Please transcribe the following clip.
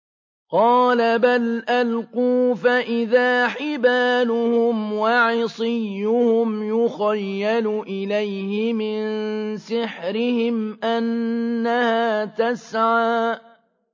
قَالَ بَلْ أَلْقُوا ۖ فَإِذَا حِبَالُهُمْ وَعِصِيُّهُمْ يُخَيَّلُ إِلَيْهِ مِن سِحْرِهِمْ أَنَّهَا تَسْعَىٰ